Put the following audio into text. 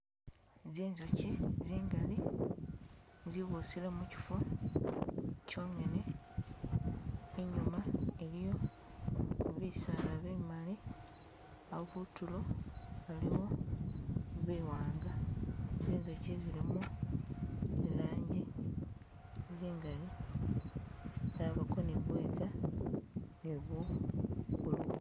Zinjukyi zingali zibusile mukifo kyongene, inyuma iliyo bisaala bimali, awo kutulo aliwo biwanga, zinjukyi zilimo ilanji zingali, zabako ni buyiga ni buwu buluma